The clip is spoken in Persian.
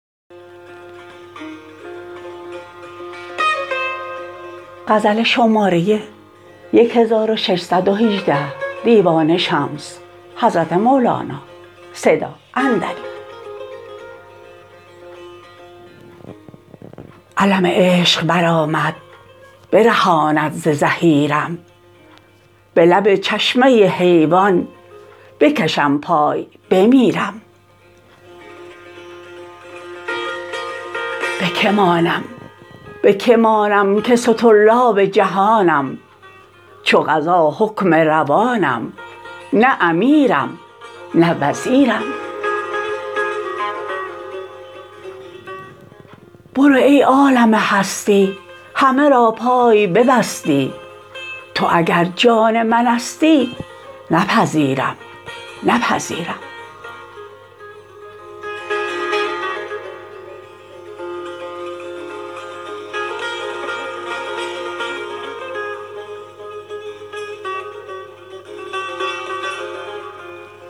علم عشق برآمد برهانم ز زحیرم به لب چشمه حیوان بکشم پای بمیرم به که مانم به که مانم که سطرلاب جهانم چو قضا حکم روانم نه امیرم نه وزیرم بروی ای عالم هستی همه را پای ببستی تو اگر جان منستی نپذیرم نپذیرم